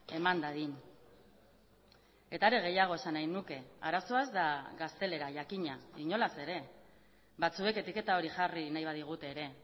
eman dadin eta are gehiago esan nahi nuke arazoa ez da gaztelera jakina inolaz ere batzuek etiketa hori jarri nahi badigute ere